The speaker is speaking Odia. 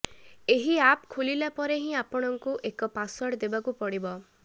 ଏହି ଆପ ଖୋଲିଲା ପରେ ହିଁ ଆପଣଙ୍କୁ ଏକ ପାସୱାର୍ଡ ଦେବାକୁ ପଡିବ